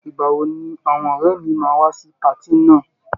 Ìgbà wo ni àwọn ọ̀rẹ́ mi máa wá sí patí náà?